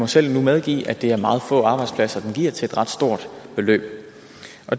selv medgive at det er meget få arbejdspladser den giver til et ret stort beløb